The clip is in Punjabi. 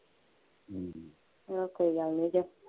ਮੈਂ ਕਿਹਾ ਕੋਈ ਗੱਲ ਨਹੀਂ ਜੇ